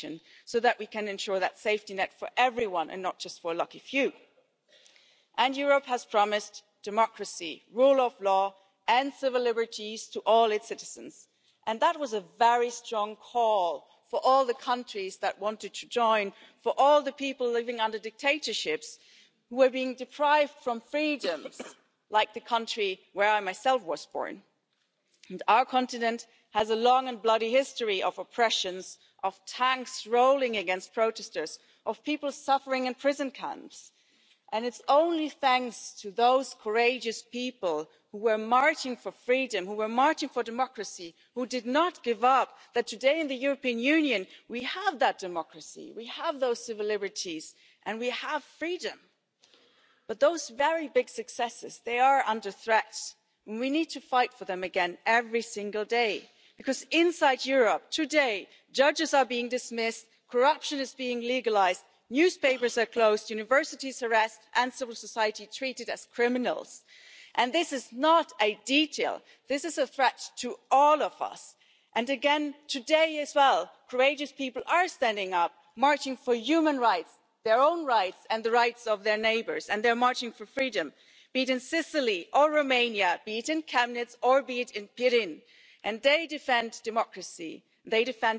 Wenn aber der Satz Wir haben überlebt das Fazit einer Politik ist, die maßgeblich auch durch die Institutionen und auch durch die Kommission mitgetragen worden ist, von einer Art und Weise von Krisenbewältigung, die letztendlich auf den Rücken der Ärmsten der Armen durchgeführt worden ist und letztendlich dazu geführt hat, dass Ungleichheiten vertieft worden sind, und dass wir eben nicht die Sicherheit haben, dass wir in die Zukunft schauen können, sondern dass wir alle das Gefühl haben, mit der kommenden Wahl steht uns wirklich etwas bevor, wo wir uns heute sagen müssen, wir haben es abzuwenden, weil wir ein Europa der Solidarität, der Gemeinschaftlichkeit, des Friedens haben wollen, dann gibt es eine ganze Reihe von Ansatzpunkten, wo wir auf die heutige Politik schauen müssen und sagen müssen So wird das nicht funktionieren. Wir müssen doch feststellen, dass auch zehn Jahre nach Beginn der Finanzkrise das Wohlstandsniveau aus den Vorkrisenzeiten in vielen Ländern noch nicht wieder erreicht worden ist. Und wo das Wachstum zurück ist, kommt es auch bei vielen Menschen nicht an. Die Rechte von Arbeitnehmerinnen sind in vielen Mitgliedstaaten massiv gekürzt worden. Wir müssen ein Signal geben, dass wir diese Rechte und auch den Schutz der Arbeitnehmerinnen und vor allem auch derjenigen, die überhaupt nicht in einem Arbeitsprozess stehen wieder stärken, dass wir die zurückholen, dass wir sie akzeptieren, dass das für uns dazu gehört, zu der Europäischen Union, und dass wir eben nicht wollen, dass das versprochene Triple A für Social Triple A letztendlich ein Triple A für eine künftige militärische